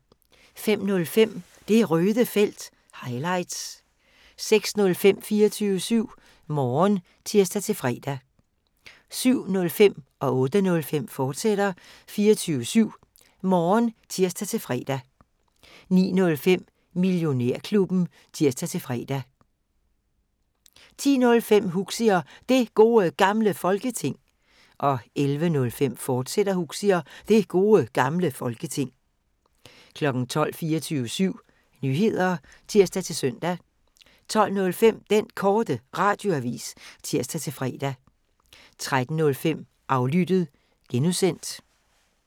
05:05: Det Røde Felt – highlights 06:05: 24syv Morgen (tir-fre) 07:05: 24syv Morgen, fortsat (tir-fre) 08:05: 24syv Morgen, fortsat (tir-fre) 09:05: Millionærklubben (tir-fre) 10:05: Huxi og Det Gode Gamle Folketing 11:05: Huxi og Det Gode Gamle Folketing, fortsat 12:00: 24syv Nyheder (tir-søn) 12:05: Den Korte Radioavis (tir-fre) 13:05: Aflyttet (G)